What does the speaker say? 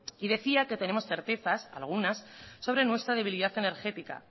y decía que tenemos certezas algunas sobre nuestra debilidad energética